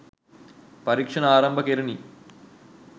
පරීක්ෂණ ආරම්භ කෙරුණි.